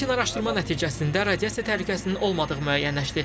Lakin araşdırma nəticəsində radiasiya təhlükəsinin olmadığı müəyyənləşdi.